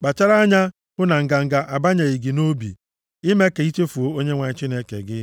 Kpachara anya hụ na nganga abanyeghị gị nʼobi, ime ka i chefuo Onyenwe anyị Chineke gị